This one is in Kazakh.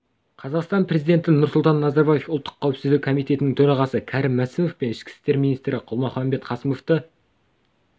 қазақстан президенті нұрсұлтан назарбаев ұлттық қауіпсіздік комитетінің төрағасы кәрім мәсімов пен ішкі істер министрі қалмұханбет қасымовты